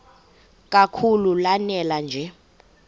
kakhulu lanela nje